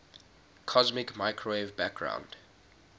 cosmic microwave background